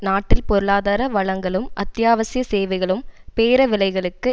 நாட்டில் பொருளாதார வளங்களும் அத்தியாவசிய சேவைகளும் பேர விலைகளுக்கு